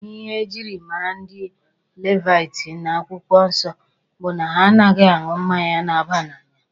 Ihe e jiri mara ndị Levaiti n'akwụkwọ nsọ bụ na ha anaghị aṅụ mmanya na-aba n'anya.